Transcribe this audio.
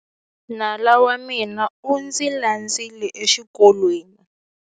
Nala wa mina u ndzi landzile exikolweni.